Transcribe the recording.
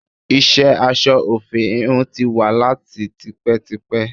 Iṣẹ́ aṣọ òfì íhùn tí wà láti tipẹ́tipẹ́.